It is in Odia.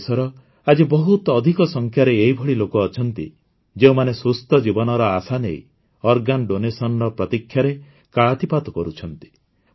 ଆମ ଦେଶର ଆଜି ବହୁତ ଅଧିକ ସଂଖ୍ୟାରେ ଏହିଭଳି ଲୋକ ଅଛନ୍ତି ଯେଉଁମାନେ ସୁସ୍ଥ ଜୀବନର ଆଶା ନେଇ ଅଙ୍ଗଦାନର ପ୍ରତୀକ୍ଷାରେ କାଳାତିପାତ କରୁଛନ୍ତି